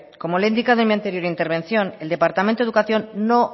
como le he indicado en mi anterior intervención el departamento de educación no